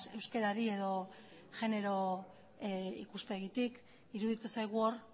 euskarari edo genero ikuspegitik iruditzen zaigu hor